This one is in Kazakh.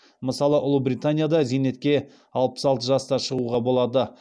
мысалы ұлыбританияда зейнетке алпыс алты жаста шығуға болады